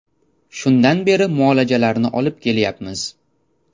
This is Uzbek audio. Shundan beri muolajalarni olib kelyapmiz.